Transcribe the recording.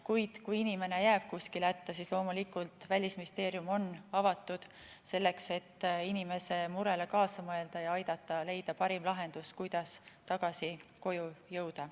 Kuid kui inimene jääb kuskil hätta, siis loomulikult Välisministeerium on avatud selleks, et inimese murele kaasa mõelda ja aidata leida parim lahendus, kuidas tagasi koju jõuda.